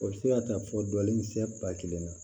O bɛ se ka taa fɔ dɔ nin sɛ ba kelen na